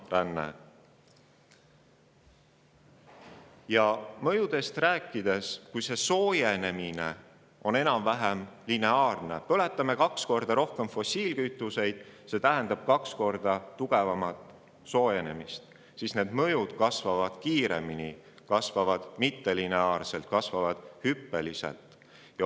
Kui rääkida mõjudest, siis kui globaalne soojenemine on enam-vähem lineaarne – põletame kaks korda rohkem fossiilkütuseid, mis tähendab kaks korda tugevamat soojenemist –, kasvavad mõjud kiiremini, mittelineaarselt ja hüppeliselt.